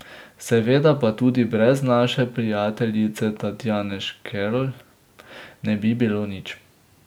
Seveda pa tudi brez naše prijateljice Tatjane Škerlj ne bi bilo nič.